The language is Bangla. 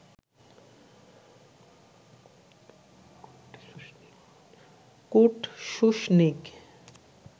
Kurt Schuschnigg